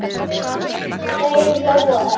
Þau hlógu öll.